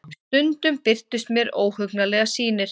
Stundum birtust mér óhugnanlegar sýnir.